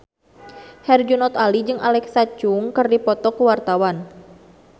Herjunot Ali jeung Alexa Chung keur dipoto ku wartawan